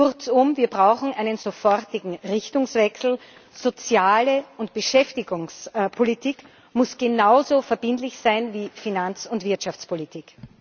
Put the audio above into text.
Kurzum Wir brauchen einen sofortigen Richtungswechsel. Sozial und Beschäftigungspolitik muss genauso verbindlich sein wie Finanz und Wirtschaftspolitik.